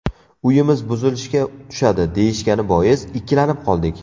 Uyimiz buzilishga tushadi deyishgani bois, ikkilanib qoldik.